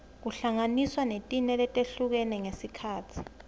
kuhlanganiswa netine letihlukene ngesikhatsi